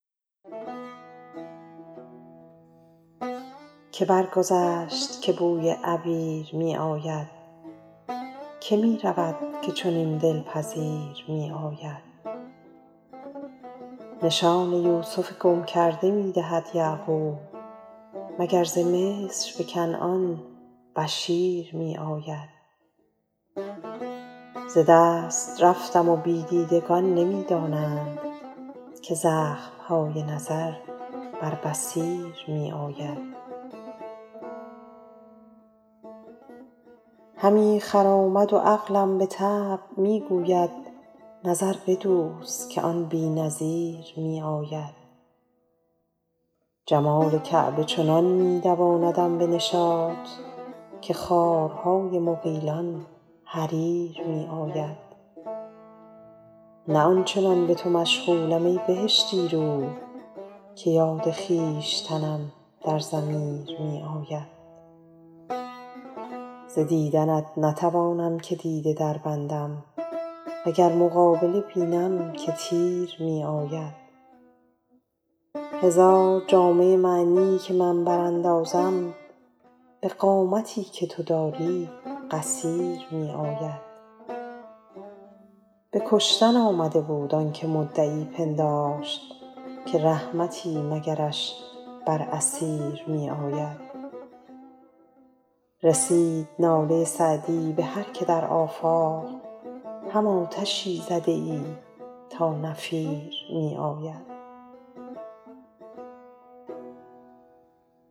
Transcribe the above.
که برگذشت که بوی عبیر می آید که می رود که چنین دل پذیر می آید نشان یوسف گم کرده می دهد یعقوب مگر ز مصر به کنعان بشیر می آید ز دست رفتم و بی دیدگان نمی دانند که زخم های نظر بر بصیر می آید همی خرامد و عقلم به طبع می گوید نظر بدوز که آن بی نظیر می آید جمال کعبه چنان می دواندم به نشاط که خارهای مغیلان حریر می آید نه آن چنان به تو مشغولم ای بهشتی رو که یاد خویشتنم در ضمیر می آید ز دیدنت نتوانم که دیده دربندم و گر مقابله بینم که تیر می آید هزار جامه معنی که من براندازم به قامتی که تو داری قصیر می آید به کشتن آمده بود آن که مدعی پنداشت که رحمتی مگرش بر اسیر می آید رسید ناله سعدی به هر که در آفاق هم آتشی زده ای تا نفیر می آید